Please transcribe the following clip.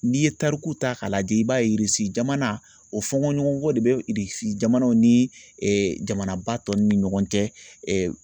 N'i ye tarikuw ta k'a lajɛ i b'a ye jamana o fɔnkɔɲɔgɔnkɔ de bɛ jamanaw ni jamanaba tɔw ni ɲɔgɔn cɛ